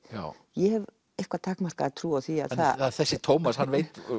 ég hef eitthvað takmarkaða trú á því að það þessi Tómas hann veit